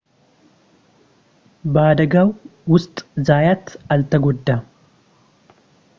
በአደጋው ውስጥ ዛያት አልተጎዳም